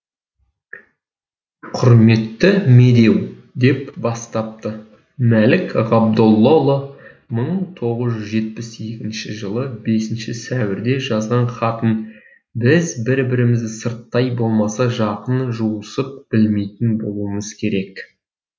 құрметті медеу деп бастапты мәлік ғабдоллаұлы мың тоғыз жүз жетпіс екінші жылы бесінші сәуірде жазған хатын біз бір бірімізді сырттай болмаса жақын жуысып білмейтін болуымыз керек